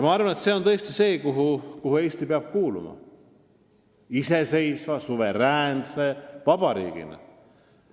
Ma arvan, et see on liit, kuhu Eesti iseseisva, suveräänse vabariigina kuuluma peab.